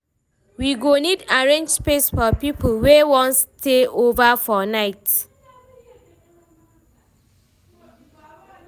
We go need arrange space for people wey wan stay over for night.